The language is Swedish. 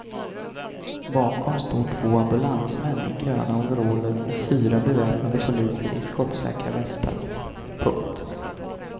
Bakom står två ambulansmän i gröna overaller och fyra beväpnade poliser i skottsäkra västar. punkt